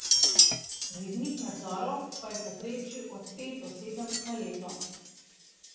Rednih nadzorov pa je v povprečju od pet do sedem na leto.